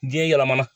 Diɲɛ yɛlɛmana